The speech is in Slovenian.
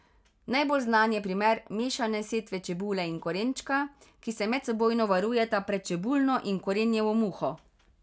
Najbolj znan je primer mešane setve čebule in korenčka, ki se medsebojno varujeta pred čebulno in korenjevo muho.